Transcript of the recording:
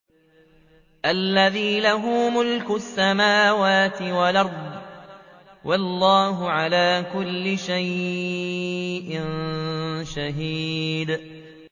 الَّذِي لَهُ مُلْكُ السَّمَاوَاتِ وَالْأَرْضِ ۚ وَاللَّهُ عَلَىٰ كُلِّ شَيْءٍ شَهِيدٌ